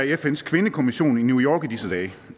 i fns kvindekommission i new york